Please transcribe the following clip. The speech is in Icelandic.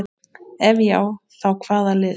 Ef já þá hvaða lið?